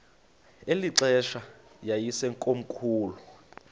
eli xesha yayisekomkhulu